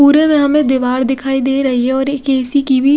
पुरे में हमे दिवार दिखाई दे रही है और एक ऐसी की भी--